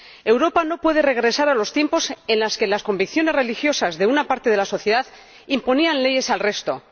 Europa no puede regresar a los tiempos en los que las convicciones religiosas de una parte de la sociedad imponían leyes al resto.